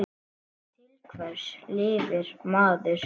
Til hvers lifir maður?